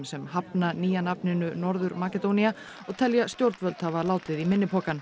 sem hafna nýja nafninu Norður Makedónía og telja stjórnvöld hafa látið í minni pokann